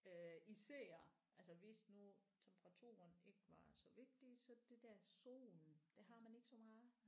Øh især altså hvis nu temperaturen ikke var så vigtig så det der solen det har man ikke meget